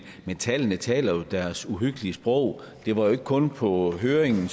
men tallene taler jo deres uhyggelige sprog det var jo ikke kun fremme på høringen